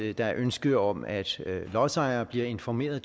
et ønske om at lodsejere bliver informeret